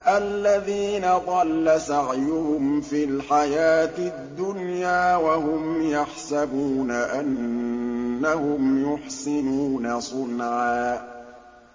الَّذِينَ ضَلَّ سَعْيُهُمْ فِي الْحَيَاةِ الدُّنْيَا وَهُمْ يَحْسَبُونَ أَنَّهُمْ يُحْسِنُونَ صُنْعًا